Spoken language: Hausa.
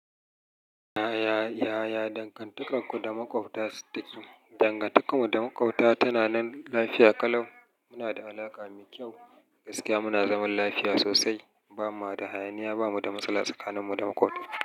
Yaya, yaya dangantakarku da maƙwabta take? Dangantakarmu da maƙwabta tana nan lafiya kalau. Muna da alaƙa mai kyau, gaskiya muna zaman lafiya sosai. Ba ma da hayaniya, ba mu da matsala tsakanin mu da maƙwabta.